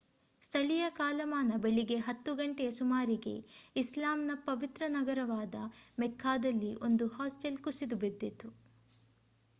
ಸ್ಥಳೀಯ ಕಾಲಮಾನ ಬೆಳಿಗ್ಗೆ 10 ಗಂಟೆಯ ಸುಮಾರಿಗೆ ಇಸ್ಲಾಮ್‌ನ ಪವಿತ್ರ ನಗರವಾದ ಮೆಕ್ಕಾದಲ್ಲಿ ಒಂದು ಹಾಸ್ಟೆಲ್ ಕುಸಿದು ಬಿದ್ದಿತು